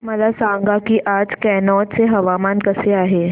मला सांगा की आज कनौज चे हवामान कसे आहे